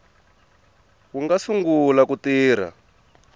wu nga sungula ku tirha